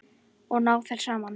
Og ná þeir saman?